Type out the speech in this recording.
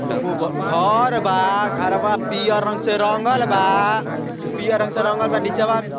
एगो घर बा घरवा पियर रंग से रंगल बा। उ पियर रंग से रंगल बा नीचवा --